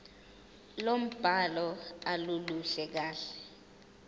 lombhalo aluluhle kahle